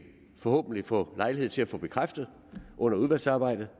forhåbentlig få lejlighed til at få bekræftet under udvalgsarbejdet